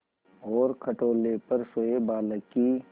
और खटोले पर सोए बालक की